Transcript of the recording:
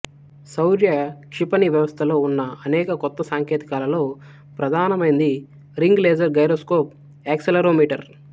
శౌర్య క్షిపణి వ్యవస్థలో ఉన్న అనేక కొత్త సాంకేతికాలలో ప్రధానమైంది రింగ్ లేజర్ గైరోస్కోప్ యాక్సెలరోమీటర్